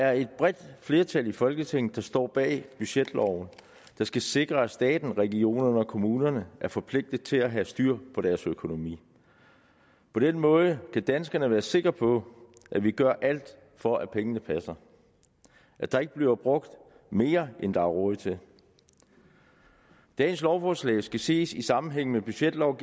er et bredt flertal i folketinget der står bag budgetloven der skal sikre at staten regionerne og kommunerne er forpligtede til at have styr på deres økonomi på den måde kan danskerne være sikre på at vi gør alt for at pengene passer at der ikke bliver brugt mere end der er råd til dagens lovforslag skal ses i sammenhæng med budgetloven